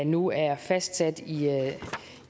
nu er fastsat